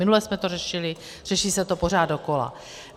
Minule jsme to řešili, řeší se to pořád dokola.